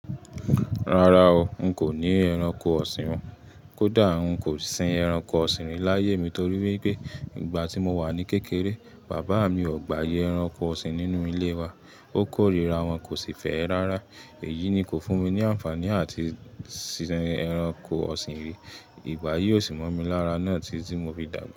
Rárá o, n kò ní ẹranko ọ̀sìn o. Kódà n kò sin ẹranko ọ̀sìn rí láyé mi torí pé nígbà tí mo wà ní kékeré, bàbá mi o gbà ayẹ ẹranko ọ̀sìn nínú ilé wa. Ó kórìíra wọn, kò sì fẹ́ ẹ rárá. Èyí ni kò fún mi ní àǹfààní láti sin ẹranko ọ̀sìn rí. Ìgbà yìí ó sì mọ́ mi lára náà tí tí mo fi dàgbà.